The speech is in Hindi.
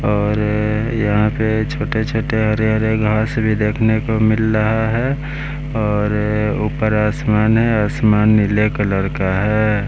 और यहाँ पे छोटे-छोटे हरे-हरे घास भी देखने को मिल रहा है और ऊपर आसमान है आसमान नीले कलर का है।